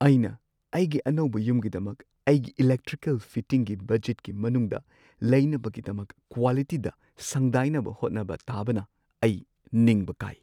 ꯑꯩꯅ ꯑꯩꯒꯤ ꯑꯅꯧꯕ ꯌꯨꯝꯒꯤꯗꯃꯛ ꯑꯩꯒꯤ ꯏꯂꯦꯛꯇ꯭ꯔꯤꯀꯦꯜ ꯐꯤꯇꯤꯡꯒꯤ ꯕꯖꯦꯠꯀꯤ ꯃꯅꯨꯡꯗ ꯂꯩꯅꯕꯒꯤꯗꯃꯛ ꯀ꯭ꯋꯥꯂꯤꯇꯤꯗ ꯁꯪꯗꯥꯏꯅꯕ ꯍꯣꯠꯅꯕ ꯇꯥꯕꯅ ꯑꯩ ꯅꯤꯡꯕ ꯀꯥꯏ꯫